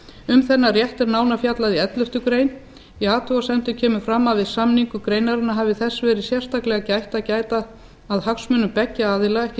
um þennan rétt er nánar fjallað í elleftu greinar í athugasemdum kemur fram að við samningu greinarinnar hafi þess verið sérstaklega gætt að gæta að hagsmunum beggja aðila ekki